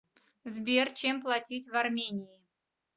сбер чем платить в армении